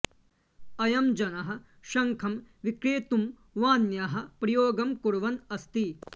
अयं जनः शङ्खं विक्रेतुं वाण्याः प्रयोगं कुर्वन् अस्ति